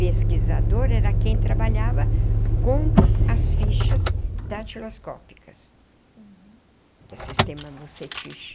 Pesquisadora era quem trabalhava com as fichas datiloscópicas. Uhum. Que é o sistema vucetich.